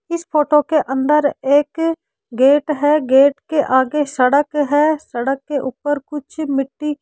इस फोटो के अंदर एक गेट है गेट के आगे सड़क है सड़क के ऊपर कुछ मिट्टी --